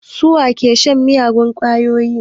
Su wa ke shan miyagun ƙwayoyi?